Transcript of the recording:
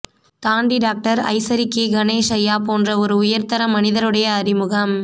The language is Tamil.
தாண்டி டாக்டர் ஐசரி கே கணேஷ் ஐயா போன்ற ஒரு உயர்ந்த மனிதருடைய அறிமுகம்